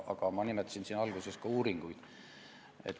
Aga ma nimetasin alguses uuringuid.